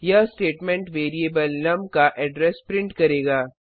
यह statement variable num का address print करेगा